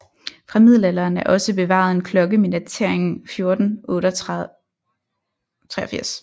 Fra middelalderen er også bevaret en klokke med datering 1483